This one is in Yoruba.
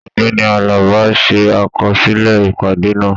Ọgbẹni Àlàbá n ṣe àkọsílẹ̀ ìpàdé náà.